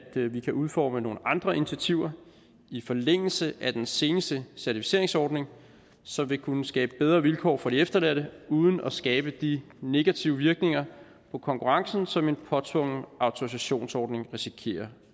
vi kan udforme nogle andre initiativer i forlængelse af den seneste certificeringsordning som vil kunne skabe bedre vilkår for de efterladte uden at skabe de negative virkninger på konkurrencen som en påtvungen autorisationsordning risikerer